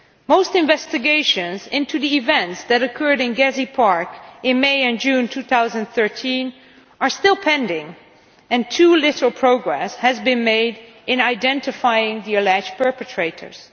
Most investigations into the events that occurred in Gezi Park in May and June 2013 are still pending, and too little progress has been made in identifying the alleged perpetrators.